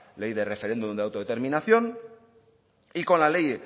ley del referéndum de autodeterminación y con la ley